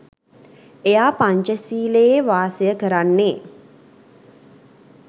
එයා පංචසීලයේ වාසය කරන්නේ